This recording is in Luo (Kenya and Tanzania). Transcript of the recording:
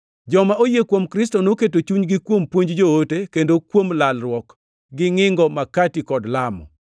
Joma oyie kuom Kristo noketo chunygi kuom puonj joote, kendo kuom lalruok, gi ngʼingo makati kod lamo.